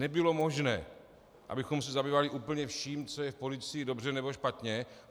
Nebylo možné, abychom se zabývali úplně vším, co je v policii dobře nebo špatně.